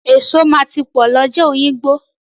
Eso máa ti pọ̀ lọ́jà Òyìngbò.